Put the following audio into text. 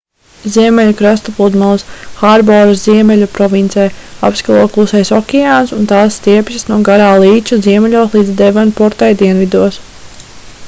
ziemeļu krasta pludmales hārboras ziemeļu provincē apskalo klusais okeāns un tās stiepjas no garā līča ziemeļos līdz devonportai dienvidos